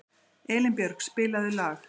Elínbjörg, spilaðu lag.